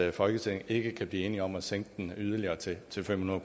at folketinget ikke kan blive enige om at sænke den yderligere til til fem hundrede